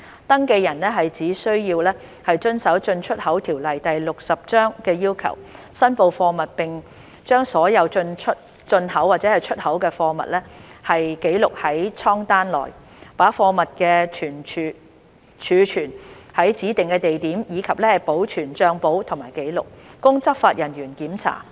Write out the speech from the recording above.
登記人只需要遵守《進出口條例》的要求，申報貨物並將所有進口或出口的貨物記錄在艙單內，把貨物儲存於指定的地點，以及保存帳簿及紀錄，供執法人員檢查。